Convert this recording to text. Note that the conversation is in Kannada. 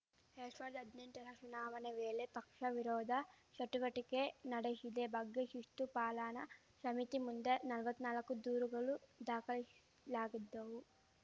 ಎರ್ಡ್ ಷಾವಿರ್ದಾ ಹದ್ನೆಂಟರ ಚುನಾವಣೆ ವೇಳೆ ಪಕ್ಷ ವಿರೋಧ ಚಟುವಟಿಕೆ ನಡೆಶಿದ ಬಗ್ಗೆ ಶಿಸ್ತು ಪಾಲನಾ ಶಮಿತಿ ಮುಂದೆ ನಲವತ್ನಾಲ್ಕು ದೂರುಗಳು ದಾಖಲಾಗಿದ್ದವು